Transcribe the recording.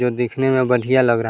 जो दिखने में बढ़िया लग रहा है।